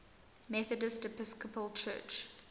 methodist episcopal church